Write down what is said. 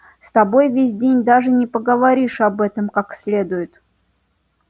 с тобой ведь даже не поговоришь об этом как следует